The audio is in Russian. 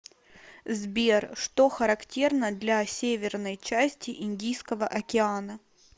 сбер что характерно для северной части индийского океана